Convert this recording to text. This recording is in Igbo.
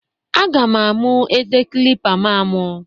Aga m amụ eze kilipa m amụ.